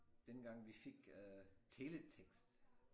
Dengang vi fik øh teletekst